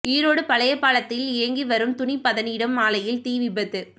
ஈரோடு பழையபாளையத்தில் இயங்கி வரும் துணி பதனிடும் ஆலையில் தீ விபத்து